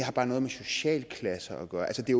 har noget med socialklasse at gøre altså det